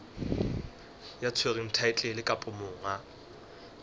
ya tshwereng thaetlele kapa monga